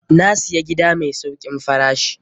Na siya gida mai saukin farashi.